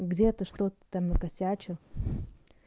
где-то что-то там накосячил